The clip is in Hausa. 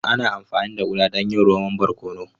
Ana amfani da Uda don yin romon barkono.